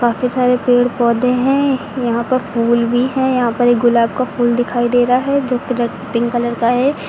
काफी सारे पेड़ पौधे हैं यहां पर फूल भी है यहां पर एक गुलाब का फूल दिखाई दे रहा है जो की रे पिंक कलर का है।